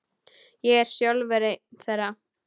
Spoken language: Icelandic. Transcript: Ég er sjálfur einn þeirra.